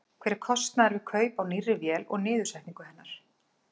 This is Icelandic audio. Hver er kostnaður við kaup á nýrri vél og niðursetningu hennar?